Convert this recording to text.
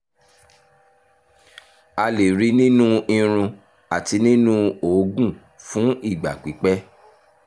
a lè rí i nínú irun àti nínú òógùn fún ìgbà pípẹ́